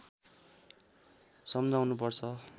सम्झाउनु पर्छ